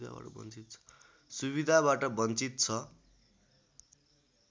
सुविधाबाट बञ्चित छ